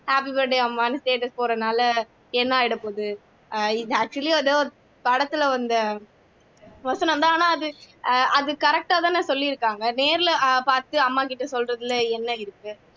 happy birthday அம்மானு status போடுறதுனால என்ன ஆயிடப்போகுது இது actually ஏதோ படத்துல வந்த வசனந்தான் அது அது correct ஆதான சொல்லி இருக்காங்க நேர்ல பாத்து அம்மாகிட்ட சொல்றதுல என்ன இருக்கு